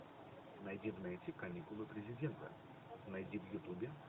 найди в нете каникулы президента найди в ютубе